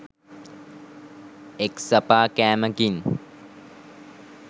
එක්සපා කෑමකින්